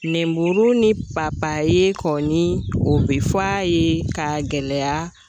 Nɛnmuru ni papaye kɔni o be fɔ a ye k'a gɛlɛya